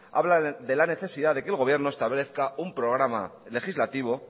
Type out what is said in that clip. habla de la necesidad de que el gobierno establezca un programa legislativo